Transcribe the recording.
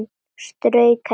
Strauk henni.